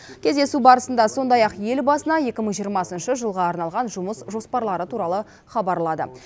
кездесу барысында сондай ақ елбасына екі мың жиырмасыншы жылға арналған жұмыс жоспарлары туралы хабарлады